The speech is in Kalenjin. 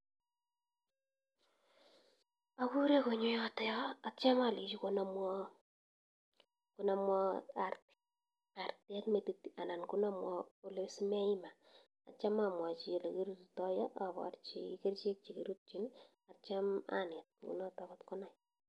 Akuree konyoo yotokyoo atya alechii konamwaa artet metit anan kolee sii meeima atya amwachii ole kiruritaii abarchii kerchek che kirutchin atya aneet kunotok kotkonam